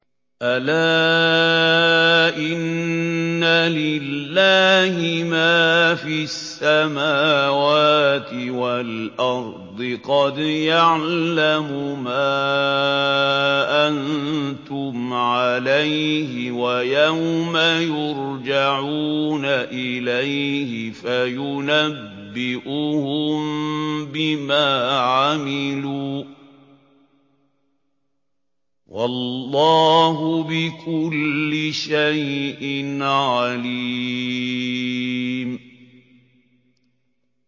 أَلَا إِنَّ لِلَّهِ مَا فِي السَّمَاوَاتِ وَالْأَرْضِ ۖ قَدْ يَعْلَمُ مَا أَنتُمْ عَلَيْهِ وَيَوْمَ يُرْجَعُونَ إِلَيْهِ فَيُنَبِّئُهُم بِمَا عَمِلُوا ۗ وَاللَّهُ بِكُلِّ شَيْءٍ عَلِيمٌ